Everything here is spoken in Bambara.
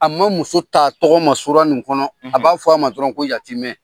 A ma muso t'a tɔgɔ ma sura nin kɔnɔ[. um] A b'a fɔ a ma dɔrɔn ko yatimɛ.